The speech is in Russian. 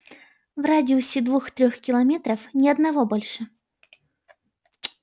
в радиусе двух-трёх километров ни одного больше